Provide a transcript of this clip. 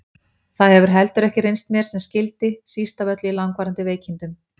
Það hefur heldur ekki reynst mér sem skyldi, síst af öllu í langvarandi veikindum.